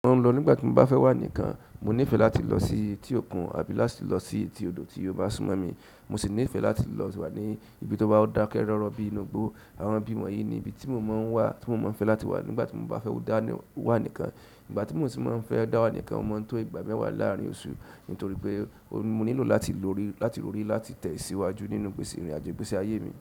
Mo n lọ nígbàtí mo bá fẹ́ wa nìkan. Mo níìfẹ̀ láti lọ sí etí òkun àbí láti lọ sí etí odò tí ó bá súnmọ́ mi. Mo sì níìfẹ̀ láti lọ wà ní ibi tó bá dákẹ́ rọ́rọ́ bíi inú igbó. Àwọn ibi wọ̀nyí ni ibi tí mo máa ń wà, tí mo máa ń fẹ́ láti wà nígbàtí mo bá fẹ́ dá wà nìkan. Ìgbà ti mo si mọ n fẹ dawa nìkan o maa n to ìgbà mẹwa laarin oṣù nitoripe mo nílò láti rori láti tẹ̀síwájú nínú ìgbésí ìrìnàjò ìgbésí aye mi.